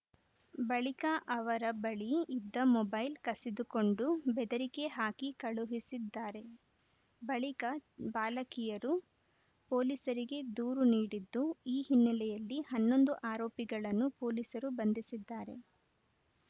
ಬಳಿಕ ಅವರ ಬಳಿ ಇದ್ದ ಮೊಬೈಲ್‌ ಕಸಿದುಕೊಂಡು ಬೆದರಿಕೆ ಹಾಕಿ ಕಳುಹಿಸಿದ್ದಾರೆ ಬಳಿಕ ಬಾಲಕಿಯರು ಪೊಲೀಸರಿಗೆ ದೂರು ನೀಡಿದ್ದು ಈ ಹಿನ್ನೆಲೆಯಲ್ಲಿ ಹನ್ನೊಂದು ಆರೋಪಿಗಳನ್ನು ಪೊಲೀಸರು ಬಂಧಿಸಿದ್ದಾರೆ